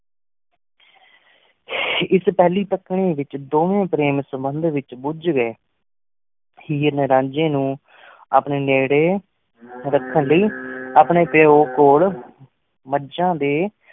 ਇਸ ਪਹਿਲੀ ਤੱਕਣੀ ਵਿਚ ਦੋਵੇਂ ਪ੍ਰੇਮ ਸੰਬੰਧ ਵਿਚ ਭੁਜ ਗਏ। ਹੀਰ ਨੇ ਰਾਂਝੇ ਨੂੰ ਅਪਣੇ ਨੇੜੇ ਰਖਣ ਲੈ ਅਪਣੇ ਪਯੋ ਕੋਲ ਮੱਝਾਂ ਦੇ